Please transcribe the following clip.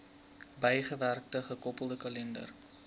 bygewerkte gekoppelde kalender